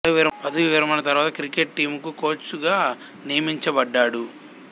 పదవీ విరమణ తరువాత క్రికెట్ టీమ్ కు కోచ్ గా నియమించబడ్డాడు